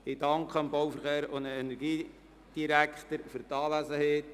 Ich danke dem Bau-, Verkehr- und Energiedirektor für die Anwesenheit.